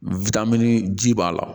ji b'a la